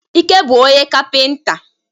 Ike bu onye kapịnta.